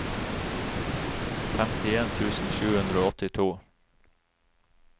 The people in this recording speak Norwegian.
femtien tusen sju hundre og åttito